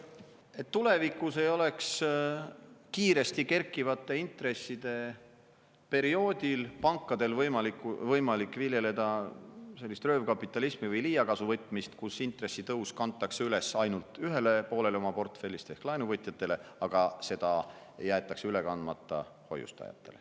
… et tulevikus ei oleks kiiresti kerkivate intresside perioodil pankadel võimalik viljeleda sellist röövkapitalismi või liigkasuvõtmist, kus intressitõus kantakse üle ainult ühele poolele oma portfellist ehk laenuvõtjatele, aga see jäetakse üle kandmata hoiustajatele.